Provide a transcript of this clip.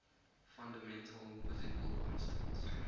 fundamental physical constants